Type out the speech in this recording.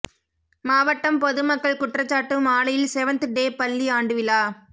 மாவட்டம் பொதுமக்கள் குற்றச்சாட்டு மாலையில் செவன்த் டே பள்ளி ஆண்டு விழா